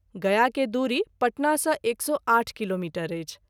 गया के दूरी पटना सँ 108 किलोमीटर अछि।